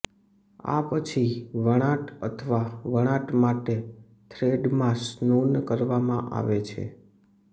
આ પછી વણાટ અથવા વણાટ માટે થ્રેડમાં સ્નૂન કરવામાં આવે છે